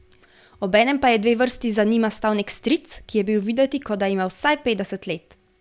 Obenem pa je dve vrsti za njima stal nek stric, ki je bil videti, kot da ima vsaj petdeset let.